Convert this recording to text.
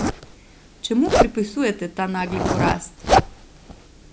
Čemu pripisujete ta nagli porast?